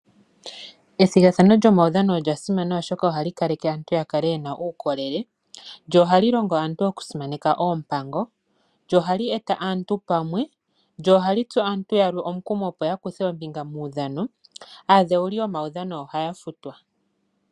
Ethigathano lyomawudhano olyasimana oshoka ohali kaleke aantu yakale yena uukolele, lyo ohali longo aantu oku simaneka oompango, lyo ohali eta aantu pamwe, lyo ohali tsu aantu yamwe omukumo opo yakuthe oombinga momawudhano. Aadhewuli yomawudhano ohaya futwa.